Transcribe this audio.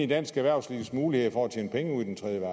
dansk erhvervslivs muligheder for at tjene penge i den tredje